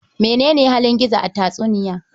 Mene ne halin Gizo a tatsuniya?